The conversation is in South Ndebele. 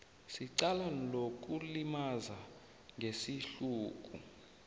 secala lokulimaza ngesihluku